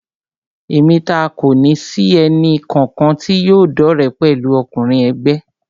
Èmi taá kòní sì ẹnì kankan tí yóò dọ́re pẹ̀lú ọkùnrin ègbé